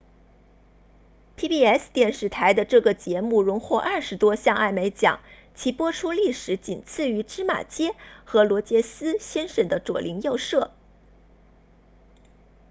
pbs 电视台的这个节目荣获二十多项艾美奖其播出历史仅次于芝麻街和罗杰斯先生的左邻右舍